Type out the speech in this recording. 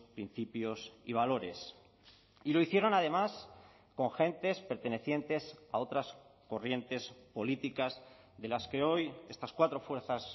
principios y valores y lo hicieron además con gentes pertenecientes a otras corrientes políticas de las que hoy estas cuatro fuerzas